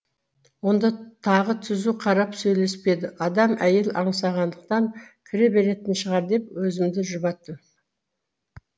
онда тағы түзу қарап сөйлеспеді адам әйел аңсағандықтан кіре беретін шығар деп өзімді жұбаттым